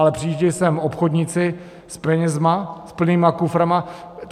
Ale přijíždějí sem obchodníci s penězma, s plnýma kuframa.